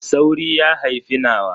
Sauri ya haifi nawa.